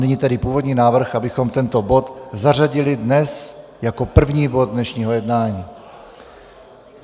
Nyní tedy původní návrh, abychom tento bod zařadili dnes jako první bod dnešního jednání.